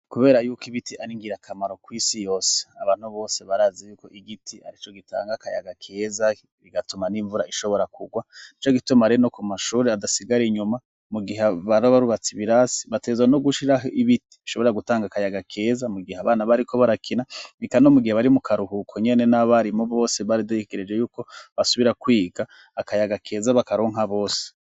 Kubera yuko ibiti ari ingirakamaro kw’isi yose, abantu bose barazi yuko igiti ari co gitanga akayaga keza, bigatuma n'imvura ishobora kugwa; nico gituma rero no ku mashuri hadasigara inyuma, mu gihe baba barubatse ibirasi, bategerezwa no gushiraho ibiti bishobora gutanga akayaga keza mu gihe abana bariko barakina, eka no mu gihe bari mu karuhuko nyene n'abarimu bose bategereje yuko basubira kwiga akayaga keza bakaronka bose.